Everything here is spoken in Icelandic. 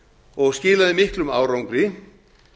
og skilaði miklum árangri